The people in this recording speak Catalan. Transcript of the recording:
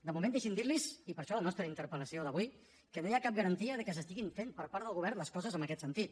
de moment deixin que els digui i per això la nostra interpel·lació d’avui que no hi ha cap garantia de que s’estiguin fent per part del govern les coses en aquest sentit